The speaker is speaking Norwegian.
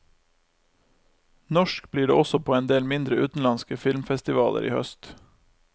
Norsk blir det også på endel mindre utenlandske filmfestivaler i høst.